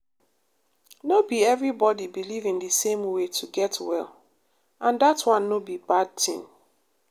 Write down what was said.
no be everybody believe in the same way to get well and that one no be bad tin.